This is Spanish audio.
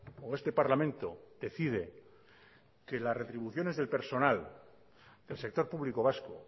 o este parlamento decide que las retribuciones del personal del sector público vasco